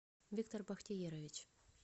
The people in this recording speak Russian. виктор бахтиерович